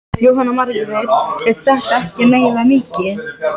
Svo hefur hann verið að borga mér til baka á þennan hátt.